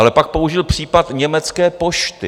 Ale pak použil případ Německé pošty.